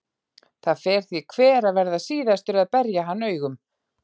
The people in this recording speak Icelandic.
Það fer því hver að verða síðastur að berja hann augum.